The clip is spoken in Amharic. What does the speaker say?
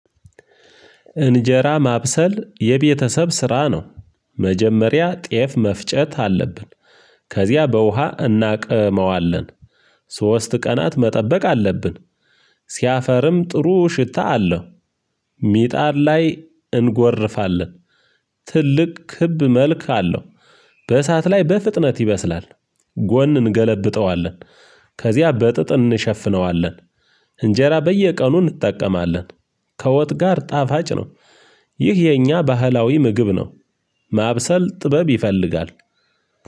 እንጀራ ማብሰል የቤተሰብ ስራ ነው። መጀመሪያ ጤፍ መፍጨት አለብን። ከዚያ በውሃ እናቅመዋለን። ሶስት ቀናት መጠበቅ አለብን። ሲያፈርም ጥሩ ሽታ አለው። ሚጣድ ላይ እንጎርፋለን። ትልቅ ክብ መልክ አለው። በእሳት ላይ በፍጥነት ይበስላል። ጎን እንገለብጠዋለን። ከዚያ በጥጥ እንሸፍነዋለን። እንጀራ በየቀኑ እንጠቀማለን። ከወጥ ጋር ጣፋጭ ነው። ይህ የኛ ባህላዊ ምግብ ነው። ማብሰል ጥበብ ይፈልጋል።